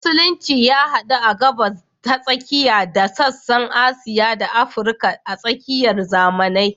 Musulunci ya hadu a Gabas ta Tsakiya da sassan Asiya da Afirka a tsakiyar zamanai.